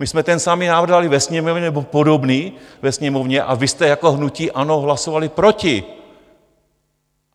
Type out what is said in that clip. My jsme ten samý návrh dali ve Sněmovně, nebo podobný ve Sněmovně, a vy jste jako hnutí ANO hlasovali proti.